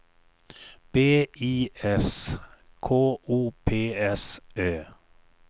B I S K O P S Ö